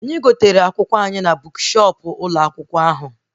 Anyị gotere akwụkwọ anyị na bukshọp ụlọ akwụkwọ ahụ